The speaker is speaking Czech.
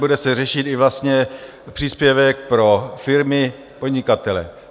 Bude se řešit vlastně i příspěvek pro firmy, podnikatele.